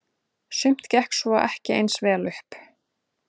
Sumt gekk svo ekki eins vel upp.